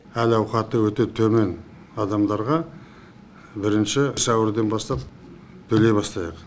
әл ауқаты өте төмен адамдарға бірінші сәуірден бастап төлей бастайық